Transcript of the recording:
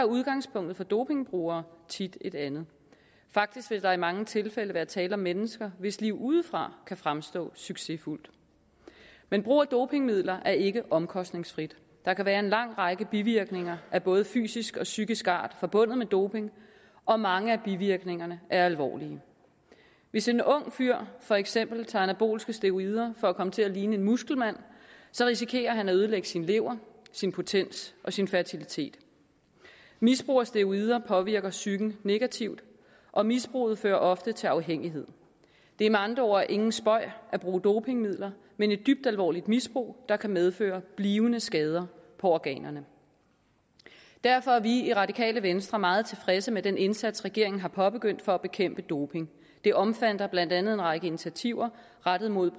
udgangspunktet for dopingbrugere tit et andet faktisk vil der i mange tilfælde være tale om mennesker hvis liv udefra kan fremstå succesfuldt men brug af dopingmidler er ikke omkostningsfrit der kan være en lang række bivirkninger af både fysisk og psykisk art forbundet med doping og mange af bivirkningerne er alvorlige hvis en ung fyr for eksempel tager anabolske steroider for at komme til at ligne en muskelmand risikerer han at ødelægge sin lever sin potens og sin fertilitet misbrug af steroider påvirker psyken negativt og misbrug fører ofte til afhængighed det er med andre ord ingen spøg at bruge dopingmidler men et dybt alvorligt misbrug der kan medføre blivende skader på organerne derfor er vi i radikale venstre meget tilfredse med den indsats regeringen har påbegyndt for at bekæmpe doping det omfatter blandt andet en række initiativer rettet mod